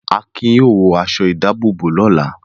Akin yóò wọ aṣọ-ìdáàbòbò rẹ̀ lọ́la.